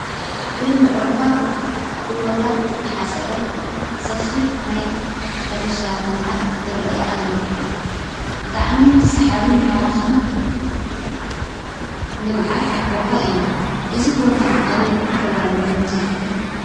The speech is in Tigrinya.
ብምዕሩጋት ጎቦታት ዝተሓፀረ ሰፊሕ ናይ ሕርሻ ልምዓት ይርአ ኣሎ። ብጣዕሚ ሳሓብን ማራኽን ልምዓት ቦታ እዩ። አዚ ቦታ ኣበይ ከባቢ ይመስለኩም?